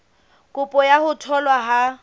kopo ya ho tholwa ha